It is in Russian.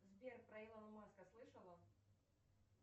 сбер про илона маска слышала